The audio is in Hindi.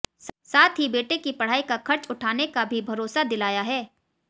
साथ ही बेटे की पढ़ाई का खर्च उठाने का भी भरोसा दिलाया है